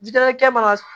Ji damakɛ man ka